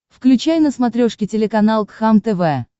включай на смотрешке телеканал кхлм тв